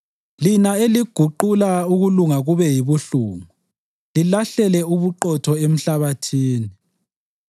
Lina eliguqula ukulunga kube yibuhlungu, lilahlele ubuqotho emhlabathini.